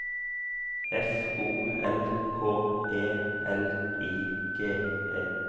F O L K E L I G E